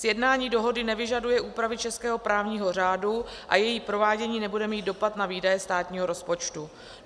Sjednání dohody nevyžaduje úpravy českého právního řádu a její provádění nebude mít dopad na výdaje státního rozpočtu.